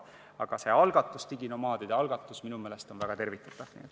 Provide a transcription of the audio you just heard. Aga see algatus ise, diginomaadide algatus, on minu meelest väga tervitatav.